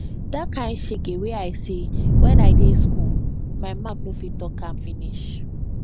di kain shege wey i see wen i dey skool my mout no fit talk am finish